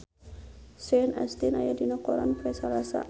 Sean Astin aya dina koran poe Salasa